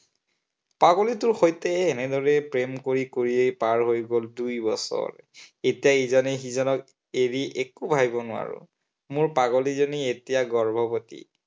পাগলীটোৰ সৈতে এনেদৰে প্ৰেম কৰি কৰি পাৰ হৈ গল দুইবছৰ। এতিয়া ইজনে সিজনক এৰি একো ভাবিব নোৱাৰো। মোৰ পাগলীজনী এতিয়া গৰ্ভৱতী।